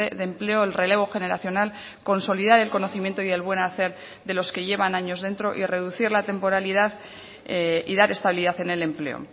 de empleo el relevo generacional consolidar el conocimiento y el buen hacer de los que llevan años dentro y reducir la temporalidad y dar estabilidad en el empleo